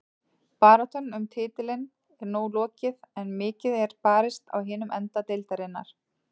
Baráttan um titilinn er nú lokið en mikið er barist á hinum enda deildarinnar.